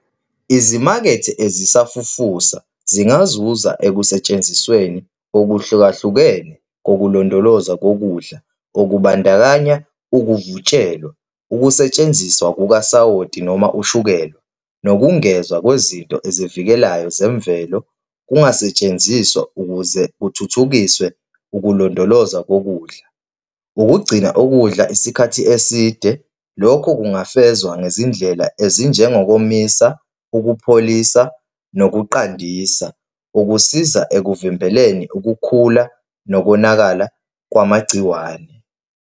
Izimakethe ezisafufusa zingazuza ekusentshenzisweni okuhlukahlukene kokulondolozwa kokudla okubandakanya ukuvutshelwa, ukusetshenziswa kukasawoti noma ushukela, nokungezwa kwezinto ezivikelayo zemvelo kungasetshenziswa ukuze kuthuthukiswe ukulondolozwa kokudla. Ukugcina ukudla isikhathi eside, lokho kungavezwa ngezindlela ezinjengokomisa, ukupholisa, nokuqandisa, ukusiza ekuvimbeleni ukukhula nokonakala kwamagciwane.